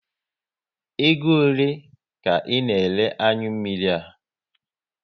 Ego ole ka ị na ere anyụ mmiri a?